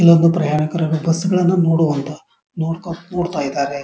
ಎಲ್ಲರಿಗು ಪ್ರಯಾಣಿಕರು ಬಸ್ಸ ಗಳನ್ನೂ ನೋಡುವಂತ ನೋಡ್ತಾ ಕುರ್ತಾ ಇದ್ದಾರೆ.